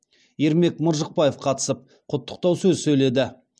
ермек мыржықпаев қатысып құттықтау сөз сөйледі